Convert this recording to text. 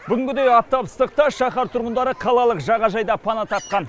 бүгінгідей аптап ыстықта шаһар тұрғындары қалалық жағажайда пана тапқан